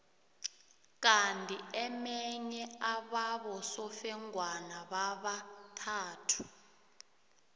kandi emenye ababosofengwana babathathu